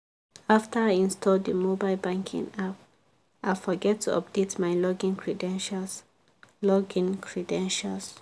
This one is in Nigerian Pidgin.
after i install the mobile banking app i forget to update my login credentials. login credentials.